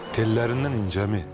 Tellərindən incəmi?